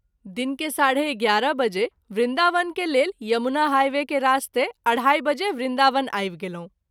दिन के 11.30 बजे वृन्दावन के लेल यमुना हाइवे के रास्ते 2.30 बजे वृन्दावन आवि गेलहुँ।